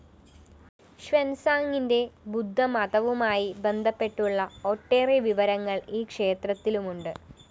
ഷ്വാന്‍സാംങിന്റെ ബുദ്ധമതവുമായി ബന്ധപ്പെട്ടുള്ള ഒട്ടേറെ വിവരങ്ങള്‍ ഈ ക്ഷേത്രത്തിലുമുണ്ട്